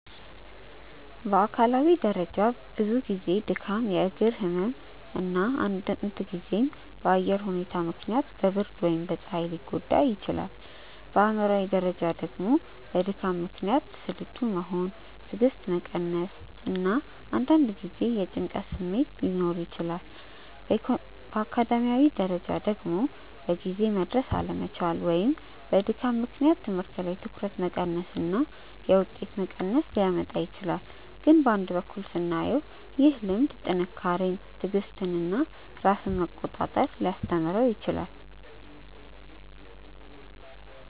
በአካላዊ ደረጃ ብዙ ጊዜ ድካም፣ የእግር ህመም እና አንዳንድ ጊዜም በአየር ሁኔታ ምክንያት በብርድ ወይም በፀሐይ ሊጎዳ ይችላል። በአእምሯዊ ደረጃ ደግሞ በድካም ምክንያት ስልቹ መሆን፣ ትዕግስት መቀነስ እና አንዳንድ ጊዜ የጭንቀት ስሜት ሊኖር ይችላል። በአካዳሚያዊ ደረጃ ደግሞ በጊዜ መድረስ አለመቻል ወይም በድካም ምክንያት ትምህርት ላይ ትኩረት መቀነስ እና የውጤት መቀነስ ሊያመጣ ይችላል። ግን በአንድ በኩል ስናየው ደግሞ ይህ ልምድ ጥንካሬን፣ ትዕግስትን እና ራስን መቆጣጠር ሊያስተምረው ይችላል